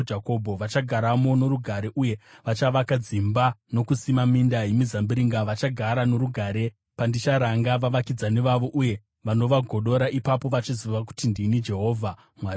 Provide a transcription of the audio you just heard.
Vachagaramo norugare uye vachavaka dzimba nokusima minda yemizambiringa; vachagara norugare pandicharanga vavakidzani vavo vose vanovagodora. Ipapo vachaziva kuti ndini Jehovha Mwari wavo.’ ”